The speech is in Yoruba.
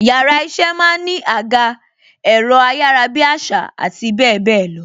Yàrá iṣẹ́ máa ń ní àga, ẹ̀rọ ayarabiasa àti bebelo.